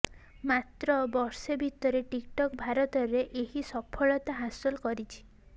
ମାତ୍ର ବର୍ଷେ ଭିତରେ ଟିକ୍ଟକ୍ ଭାରତରେ ଏହି ସଫଳତା ହାସଲ କରିଛି